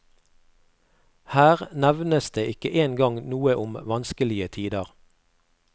Her nevnes det ikke en gang noe om vanskelige tider.